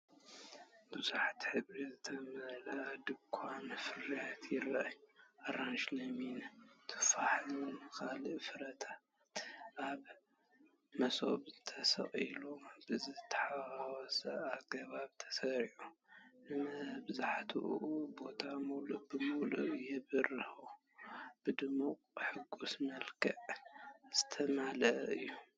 ብብዙሕ ሕብሪ ዝተመልአ ድኳን ፍረታት ይርአ። ኣራንሺ፡ ለሚን፡ ቱፋሕን ካልእ ፍረታትን ኣብ መሶብ ተሰቒሉ ብዝተሓዋወሰ ኣገባብ ተሰሪዑ፡ ንመብዛሕትኡ ቦታ ምሉእ ብምሉእ የብርሆ። ብድሙቕን ሕጉስን መልክዕ ዝተመልአ እዩ።